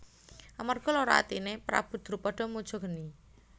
Amarga lara atine Prabu Drupada muja geni